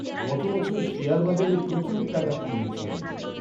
গত বছর শেয়ার বাজারে প্রচুর টাকা খুইয়েছি আমি।